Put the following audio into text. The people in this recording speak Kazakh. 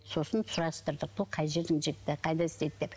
сосын сұрастырдық бұл қай жердің жігіті қайда істейді деп